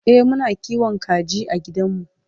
e Muna kiwon kaji a gidanmu